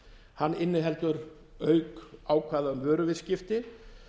hann inniheldur auk ákvæða um vöruviðskipti